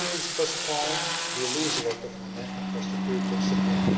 If it is postponed, we will lose a lot of momentum for security of supply.